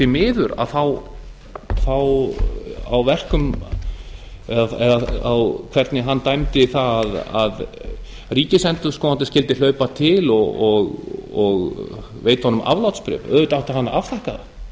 miður hvernig hann dæmdi það að ríkisendurskoðandi skyldi hlaupa til og veita honum aflátsbréf auðvitað átti hann að afþakka það